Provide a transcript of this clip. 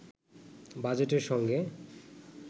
বাজেটের সঙ্গে